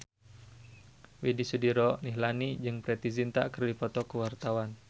Widy Soediro Nichlany jeung Preity Zinta keur dipoto ku wartawan